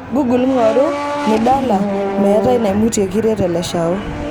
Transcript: google ngoru nidala meitai namutie kiret e leshao